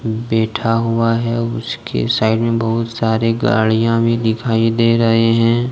बैठा हुआ है और उसके साइड में बहुत सारे गाड़ियां भी दिखाई दे रहे हैं।